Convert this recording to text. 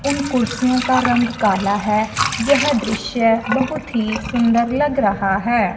उन कुर्सियों का रंग काला है। यह दृश्य बहुत ही सुंदर लग रहा है।